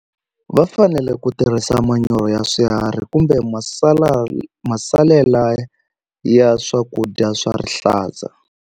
Va fanele ku tirhisa manyoro ya swiharhi kumbe masala masalela ya swakudya swa rihlaza.